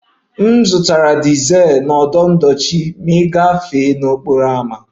M zụtara dizel na ọdụ ndochi gafee n'okporo ámá